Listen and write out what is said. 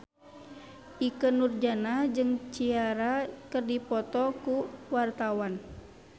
Ikke Nurjanah jeung Ciara keur dipoto ku wartawan